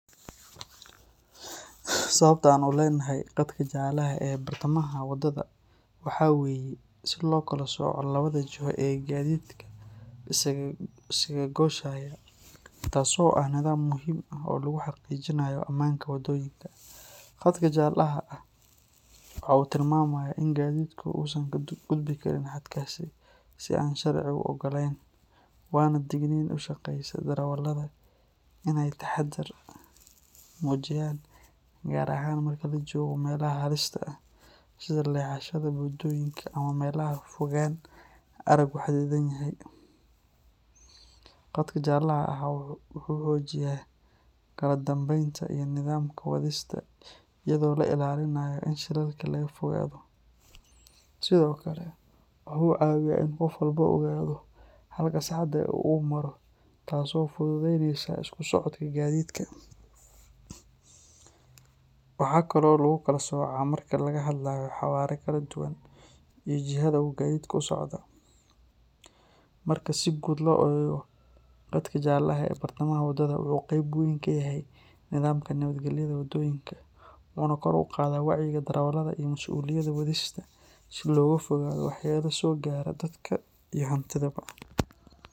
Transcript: Sababta aan u leenahay qadka jalaha ee bartamaha wadada waxa weeye si loo kala sooco labada jiho ee gaadiidka isaga gooshaya, taasoo ah nidaam muhiim ah oo lagu xaqiijinayo ammaanka waddooyinka. Qadka jalaha ah waxa uu tilmaamayaa in gaadiidku uusan ka gudbi karin xadkaas si aan sharcigu oggolayn, waana digniin u sheegaysa darawalada in ay taxadar muujiyaan, gaar ahaan marka la joogo meelaha halista ah sida leexashada, buundooyinka ama meelaha fogaan araggu xadidan yahay. Qadka jalaha ah wuxuu xoojiyaa kala dambeynta iyo nidaamka wadista iyadoo la ilaalinayo in shilalka laga fogaado. Sidoo kale, waxa uu caawiyaa in qof walba ogaado halka saxda ah ee uu maro, taasoo fududaynaysa isku socodka gaadiidka. Waxaa kaloo lagu kala soocaa marka laga hadlayo xawaare kala duwan iyo jihada uu gaadhigu u socda. Marka si guud loo eego, qadka jalaha ee bartamaha wadada wuxuu qayb weyn ka yahay nidaamka nabadgelyada waddooyinka, wuxuuna kor u qaadaa wacyiga darawalada iyo masuuliyadda wadista si looga fogaado waxyeelo soo gaadha dadka iyo hantidaba.